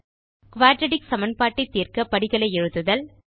quadratic சமன்பாட்டைத் தீர்க படிகளை எழுதுதல்